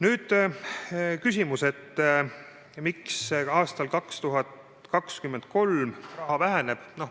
Nüüd küsimus, miks aastal 2023 teeraha väheneb.